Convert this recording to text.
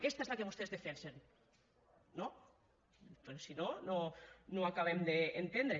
aquesta és la que vostès defensen no perquè si no no ho acabem d’entendre